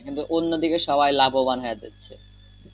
কিন্তু অন্য দিকে সবাই লাভবান হয়ে যাচ্ছে।